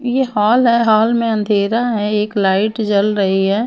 ये हॉल है हॉल में अंधेरा है एक लाइट जल रही है।